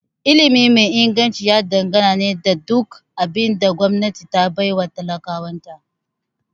Ilimi mai Inganci ya dangana ne da duk abin da gwamnati ta baiwa talakawan ta